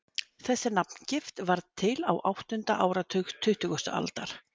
þessi nafngift varð til á áttunda áratug tuttugustu aldar